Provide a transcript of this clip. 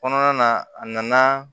Kɔnɔna na a nana